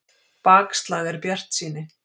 Bakslag en bjartsýni